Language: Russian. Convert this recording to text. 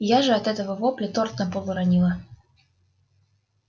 я же от этого вопля торт на пол уронила